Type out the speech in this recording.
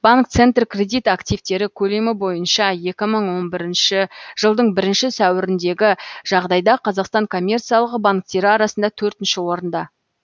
банк центркредит активтері көлемі боынша екі мың он бірінші жылдың бірінші сәуіріндегі жағдайда қазақстан коммерциялық банктері арасында төртінші орында